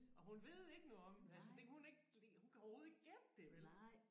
Og hun ved ikke noget om det altså det kan hun ikke hun kan overhovedet ikke gætte det vel